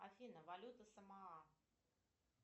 афина валюта самоа